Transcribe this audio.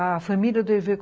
A família do Hervé